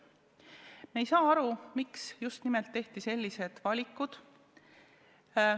Me ei saa aru, miks tehti just nimelt sellised valikud.